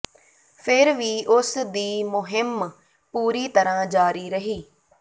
ਫਿਰ ਵੀ ਉਸ ਦੀ ਮੁਹਿੰਮ ਪੂਰੀ ਤਰ੍ਹਾਂ ਜਾਰੀ ਰਹੀ